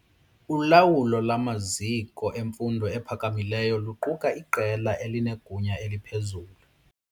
Ulawulo lwamaziko emfundo ephakamileyo luquka iqela elinegunya eliphezulu.